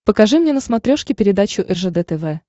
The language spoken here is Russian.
покажи мне на смотрешке передачу ржд тв